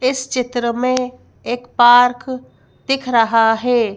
इस चित्र मैं एक पार्क दिख रहा हैं।